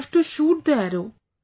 I have to shoot the Arrow